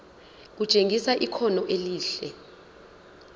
kutshengisa ikhono elihle